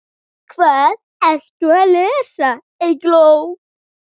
Hvað ertu að lesa, Eygló?